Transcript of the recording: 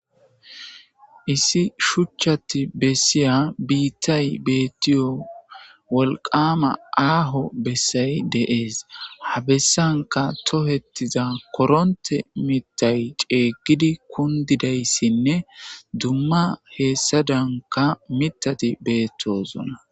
issi shuchchati bessiya biittay beettiyo wolqama aaho bessay de'es habessanka tohettiza koronte mitay ceeyggidi kundidayssinne dumma heessadanka mitati bettoozona